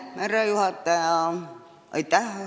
Härra juhataja!